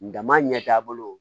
Dama ɲɛtaa bolo